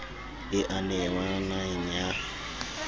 e a nenwa naheng ya